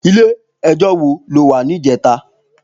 Ilé èjò wó ló wá nijètá?